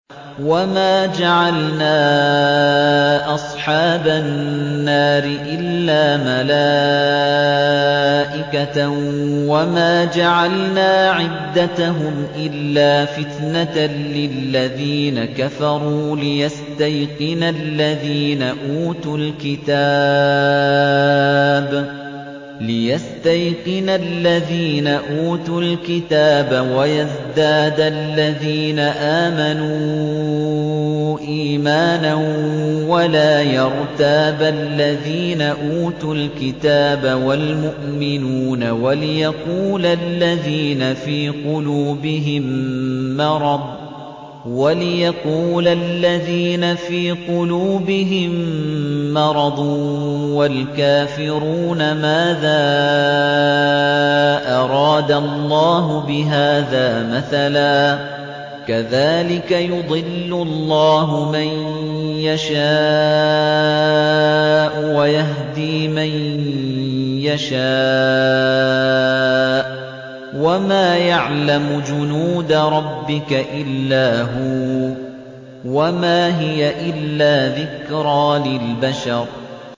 وَمَا جَعَلْنَا أَصْحَابَ النَّارِ إِلَّا مَلَائِكَةً ۙ وَمَا جَعَلْنَا عِدَّتَهُمْ إِلَّا فِتْنَةً لِّلَّذِينَ كَفَرُوا لِيَسْتَيْقِنَ الَّذِينَ أُوتُوا الْكِتَابَ وَيَزْدَادَ الَّذِينَ آمَنُوا إِيمَانًا ۙ وَلَا يَرْتَابَ الَّذِينَ أُوتُوا الْكِتَابَ وَالْمُؤْمِنُونَ ۙ وَلِيَقُولَ الَّذِينَ فِي قُلُوبِهِم مَّرَضٌ وَالْكَافِرُونَ مَاذَا أَرَادَ اللَّهُ بِهَٰذَا مَثَلًا ۚ كَذَٰلِكَ يُضِلُّ اللَّهُ مَن يَشَاءُ وَيَهْدِي مَن يَشَاءُ ۚ وَمَا يَعْلَمُ جُنُودَ رَبِّكَ إِلَّا هُوَ ۚ وَمَا هِيَ إِلَّا ذِكْرَىٰ لِلْبَشَرِ